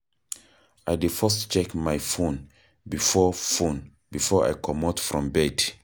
I dey first check my fone before fone before I comot from bed.